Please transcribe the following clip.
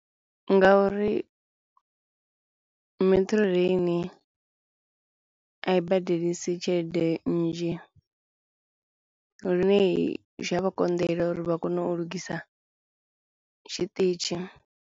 Ngauri Metrorail a i badelisa tshelede nnzhi lune zwi a vha konḓela uri vha kone u lugisa tshiṱitshi.